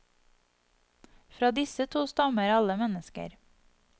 Fra disse to stammer alle mennesker.